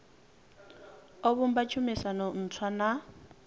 o vhumba tshumisano ntswa na